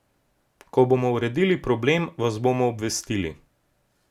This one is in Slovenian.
Ko bomo uredili problem, vas bomo obvestili.